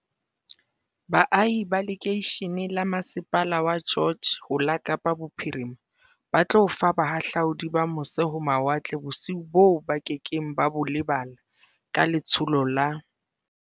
Baahi ba lekeishene la masepala wa George ho la Kapa Bophiri ma ba tlo fa bahahlaudi ba mose-ho-mawatle bosiu boo ba ke keng ba bo lebala ka le tsholo la